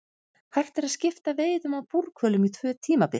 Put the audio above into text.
Hægt er að skipta veiðum á búrhvölum í tvö tímabil.